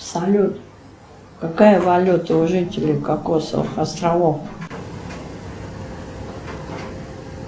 салют какая валюта у жителей кокосовых островов